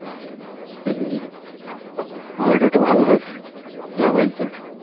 আবহাওয়াটা একটু ভালো হোক যাব একদিন